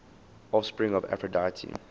offspring of aphrodite